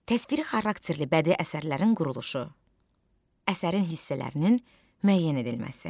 Təsviri xarakterli bədii əsərlərin quruluşu, əsərin hissələrinin müəyyən edilməsi.